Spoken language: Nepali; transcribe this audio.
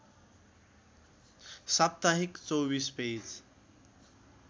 साप्ताहिक २४ पेज